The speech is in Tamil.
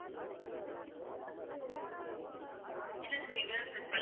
இல்ல sir இது தான் sirfirst